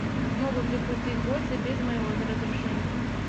могут ли пустить гостя без моего разрешения